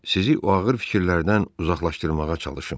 Sizi o ağır fikirlərdən uzaqlaşdırmağa çalışım.